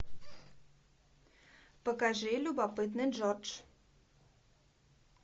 покажи любопытный джордж